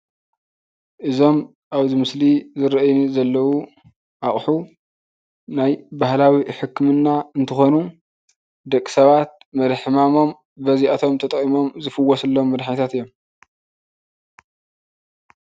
እዞም እብዚ ምስሊ ዝረአዩኒ ዘለው እቁሑ ናይ ባህላዊ ሕክምና እንትኮኑ ደቂ ሰባት መሪሕ ሕማሞም በዚአቶም ተጠቂሞም ዝፍወሱሎም መድሕኒታት እዮም።